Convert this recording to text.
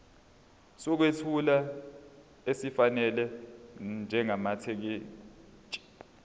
sokwethula esifanele njengamathekisthi